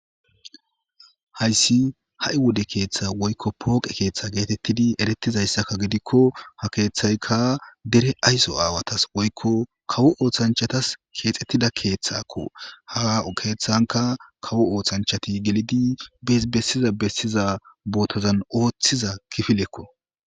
hayssi ha7i wode keeththa woykko pooqe keeththa geetettidi erettizayssakka gidikko ha keeththayka dere ayso aawatas woykko kawo ooththanchatas keexettida keeththakko haa keeththanka kawo ooththanchati gelidi ebessiza bessiza bootozan ooththiza kifilekko